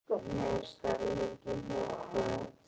Hvernig er stemningin hjá Hvöt?